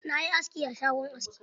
Na yi aski a shagon aski.